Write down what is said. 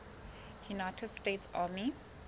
united states army